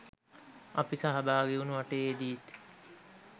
අපි සහභාගිවුණු වටයේදීත්